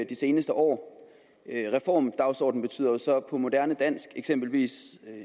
de seneste år reformdagsordenen betyder jo så på moderne dansk eksempelvis